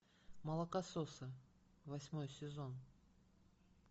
молокососы восьмой сезон